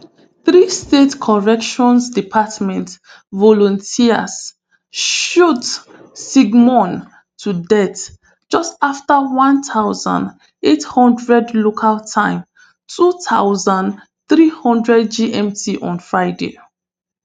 three state corrections department volunteers shoot sigmon to death just afta one thousand, eight hundred local time two thousand, three hundred gmt on friday